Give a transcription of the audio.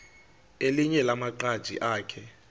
elinye lamaqhaji akhe